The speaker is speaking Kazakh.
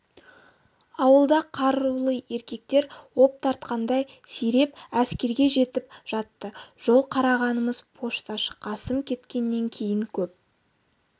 ауылда қарулы еркектер оп тартқандай сиреп әскерге кетіп жатты жол қарағанымыз пошташы қасым кеткеннен кейін көп